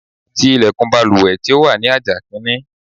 Ti ilẹ̀kùn baluwẹ̀ tí ó wà ní àjà kìíní.